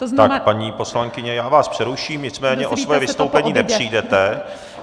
Tak paní poslankyně, já vás přeruším, nicméně o své vystoupení nepřijdete.